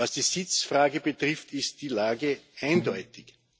Was die Sitzfrage betrifft, ist die Lage eindeutig.